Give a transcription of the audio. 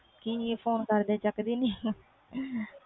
ਕਿ ਹੈ ਫੋਨ ਕਰਦੇ ਚੁੱਕ ਦੀ ਨਹੀਂ ਫੋਨ